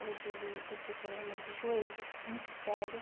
Hoje ele ele tem problema de joelho muito sério.